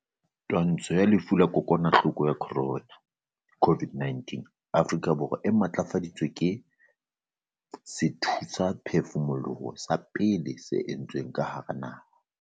Twantsho ya lefu la kokwanahloko ya corona, COVID-19, Afrika Borwa e matlafaditswe ke sethusaphefumoloho sa pele se entsweng ka hara naha.